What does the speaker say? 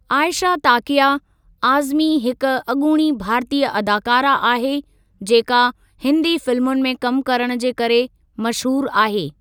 आईशा ताकया आज़मी हिक अॻूणी भारतीय अदाकारा आहे जेका हिन्दी फिल्मुनि में कमु करणु जे करे मशहूरु आहे।